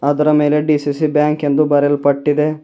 ಅದರ ಮೇಲೆ D C C bank ಎಂದು ಬರೆಯಲ್ಪಟ್ಟಿದೆ.